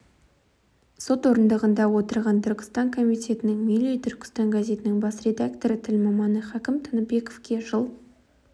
сот орындығында отырған түркістан комитетінің милли түркістан газетінің бас редакторы тіл маманы хакім тыныбековке жыл